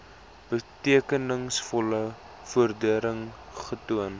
betekenisvolle vordering getoon